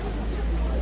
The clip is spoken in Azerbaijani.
Bir yerdən çoxdur.